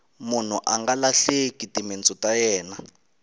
munhu anga lahleki timintsu ta yena